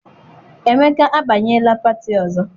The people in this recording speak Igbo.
Emeka abanyela pati ọzọ.